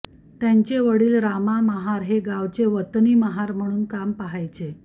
त्यांचे वडील रामा महार हे गावाचे वतनी महार म्हणून काम पाहायचे